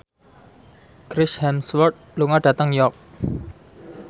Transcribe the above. Chris Hemsworth lunga dhateng York